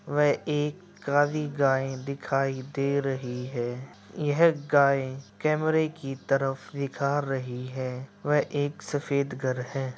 यह एक काली गाय दिख रही हैं। यह गाय केेमरे की तरफ दिखा रही हैं। वह एक सफेद घर है।